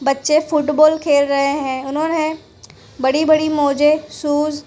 बच्चे फुटबॉल खेल रहे हैं उन्होंने बड़ी बड़ी मोजे शूज़ --